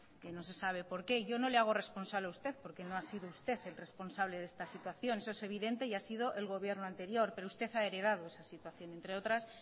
que no se sabe por qué yo no le hago responsable a usted porque no ha sido usted el responsable de esta situación eso es evidente y ha sido el gobierno anterior pero usted ha heredado esa situación entre otras